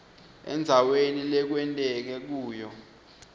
endzaweni lekwenteke kuyo